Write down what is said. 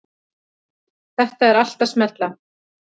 Þetta er allt að smella.